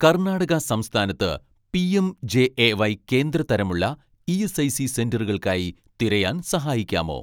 കർണാടക സംസ്ഥാനത്ത് പിഎംജെഎവൈ കേന്ദ്ര തരം ഉള്ള ഇ.എസ്.ഐ.സി സെന്ററുകൾക്കായി തിരയാൻ സഹായിക്കാമോ